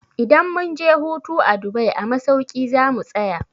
Idan mun je hutu a Dubai a masauki za mu tsaya.